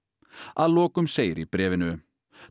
að lokum segir í bréfinu